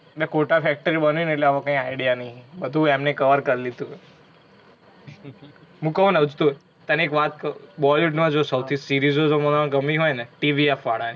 ને Kota factory બનાઇ ને એટલે આમા કાઇ idea નહીં હે. બધુ એમને cover કર લીધુ હે. હુ કઉ હુ ને તને એક વાત કઉ bollywood મા જો સૌથી series ઓ જો મને ગમી હોઇ ને તો TvF વાળા ની